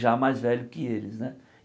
Já mais velho que eles, né?